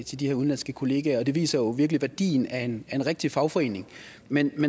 til de her udenlandske kollegaer og det viser jo virkelig værdien af en rigtig fagforening men